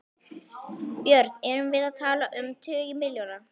Björn: Erum við að tala um tugi milljóna?